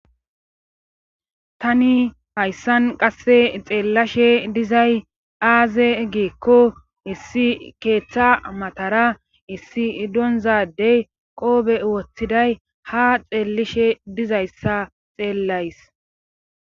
Tani hayssan qasse xeellashe dizay aaze giikko issi keeththa matara issi iddonzadey qoobe woththiday ha xeellishe dizayssa xeellays.